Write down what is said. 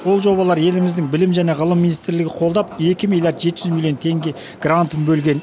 ол жобалар еліміздің білім және ғылым министрлігі қолдап екі миллиард жеті жүз миллион теңге грантын бөлген